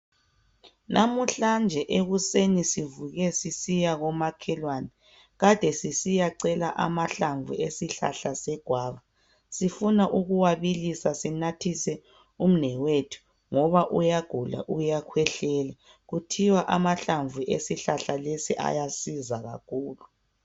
Namuhlanje ekuseni sivuke sisiya komakhelwane sisiya cela amahlamvu egwava sifuna ukuwa bilisa sinathise umnewethu ngoba uyagula uyakhwehlela kuthiwa amahlamvu esihlahlalesi ayasiza kakhulu.